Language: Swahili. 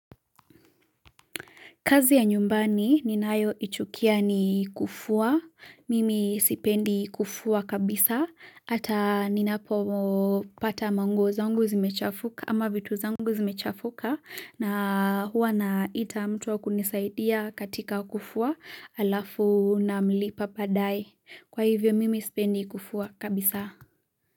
Kazi ya nyumbani ninay ichukia ni kufua. Mimi sipendi kufua kabisa. Hata ninapopata manguo zangu zimechafuka ama vitu zangu zimechafuka na huwa naita mtu wa kunisaidia katika kufua alafu namlipa baadae. Kwa hivyo mimi sipendi kufua kabisa.